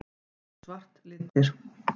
Eru hvítt og svart litir?